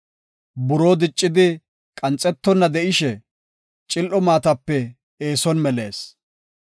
Buroo diccidi qanxetonna de7ishe, cil7o maatapeka eeson melees.